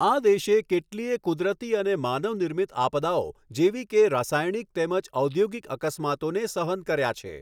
આ દેશે કેટલીય કુદરતી અને માનવ નિર્મિત આપદાઓ, જેવી કે રસાયણિક તેમજ ઔધૌગિક અકસ્માતોને સહન કર્યા છે.